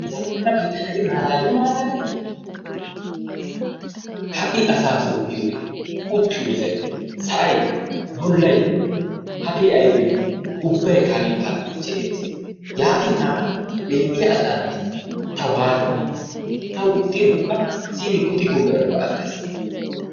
zammanabi tana I malaaliyo malaalay! ha'i asaa soo biyoode uttiyoosay, sa'ay, bollay hagee aybbe I ubbaykka hagee paranicheeriyaa gees. Yaatin hagaa mell''iya asaanne ta waatto! Tawu ixxin ubba simi Godi gobay hano ga agaas!